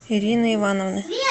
ирины ивановны